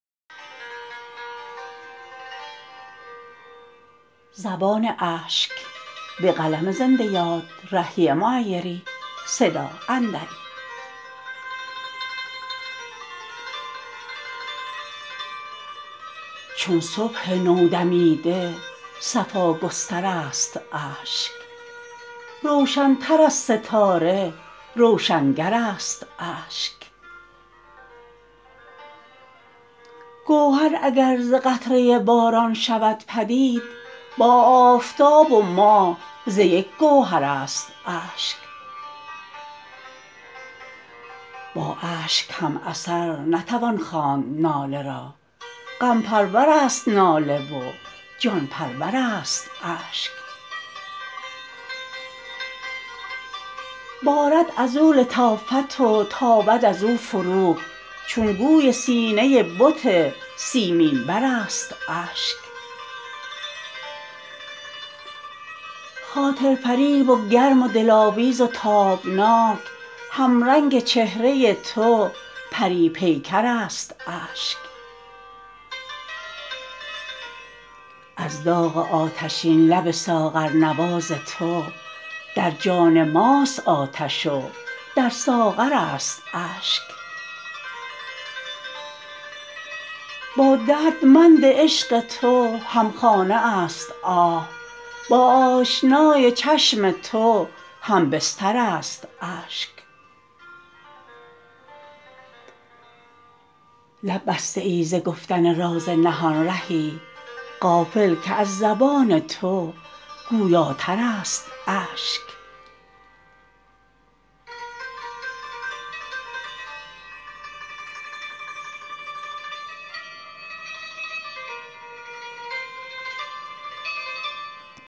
چون صبح نودمیده صفا گستر است اشک روشن تر از ستاره روشنگر است اشک گوهر اگر ز قطره باران شود پدید با آفتاب و ماه ز یک گوهر است اشک با اشک هم اثر نتوان خواند ناله را غم پرور است ناله و جان پرور است اشک بارد ازو لطافت و تابد ازو فروغ چون گوی سینه بت سیمین بر است اشک خاطر فریب و گرم و دلاویز و تابناک همرنگ چهره تو پری پیکر است اشک از داغ آتشین لب ساغرنواز تو در جان ماست آتش و در ساغر است اشک با دردمند عشق تو همخانه است آه با آشنای چشم تو هم بستر است اشک لب بسته ای ز گفتن راز نهان رهی غافل که از زبان تو گویاتر است اشک